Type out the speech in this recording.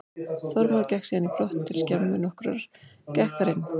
Þormóður gekk síðan í brott til skemmu nokkurrar, gekk þar inn.